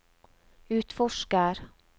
utforsker